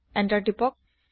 enter press কৰক